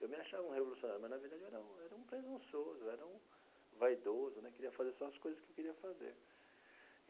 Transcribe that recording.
Eu me achava um revolucionário, mas, na verdade, eu era um era um presunçoso, era um vaidoso né, queria fazer só as coisas que eu queria fazer.